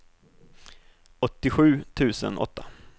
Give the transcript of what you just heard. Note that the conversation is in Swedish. åttiosju tusen åtta